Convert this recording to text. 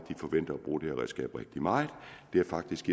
de forventer at bruge det her redskab rigtig meget det er faktisk